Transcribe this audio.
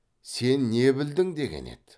сен не білдің деген еді